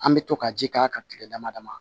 An bɛ to ka ji k'a kan kile dama dama